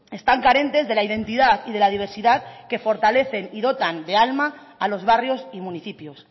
están carentes de la identidad y de la diversidad que fortalecen y dotan de alma a los barrios y municipios